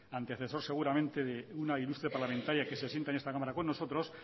antecesor seguramente de una ilustre parlamentaria que se sienta en esta cámara con nosotros